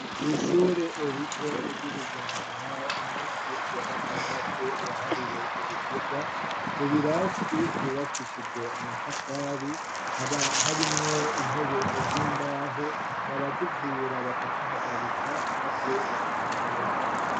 Kw'ishure rito ry'i Bugendana, umunsi wa gatandatu wahariwe ibikorwa, mu birasi vyubakishije amatafari, haba harimwo intebe z'imbaho, barazivyura bakazihagarika maze bakahakoropa.